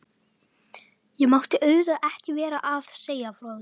Ég mátti auðvitað ekki vera að segja frá þessu.